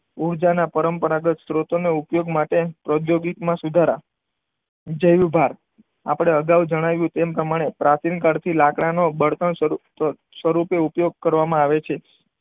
ઊર્જાના પરંપરાગત સ્ત્રોતોનો ઉપયોગ માટે ઔદ્યોગિક માં સુધારા. જૈવભાર. આપણે અગાઉ જણાવ્યું તેમ પ્રમાણે પ્રાચીન કાળથી લાકડાના બળતણ સ્વરૂપે ઉપયોગ કરવામાં આવે છે.